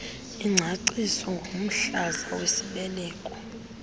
ingcaciso ngomhlaza wesibeleko